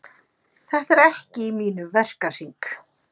Þetta er ekki í mínum verkahring.